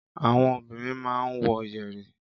Àwọn obìnrin máa ń wọ yẹ̀rì.